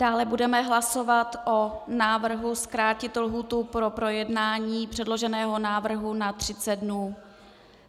Dále budeme hlasovat o návrhu zkrátit lhůtu pro projednání předloženého návrhu na 30 dnů.